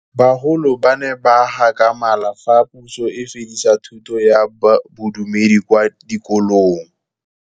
Bagolo ba ne ba gakgamala fa Pusô e fedisa thutô ya Bodumedi kwa dikolong.